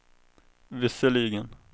visserligen